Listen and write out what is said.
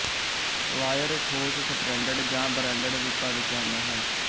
wire ਠੋਸ stranded ਜਾਂ braided ਰੂਪਾਂ ਵਿੱਚ ਆਉਂਦਾ ਹੈ